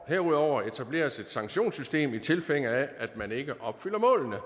herudover etableres et sanktionssystem i tilfælde af at man ikke opfylder målene